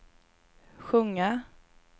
sjunga